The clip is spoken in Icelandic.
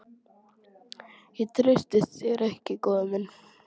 Ég treysti þér ekki, góði minn.